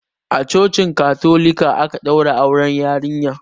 A cocin katolika aka ɗaura auren yarinyar.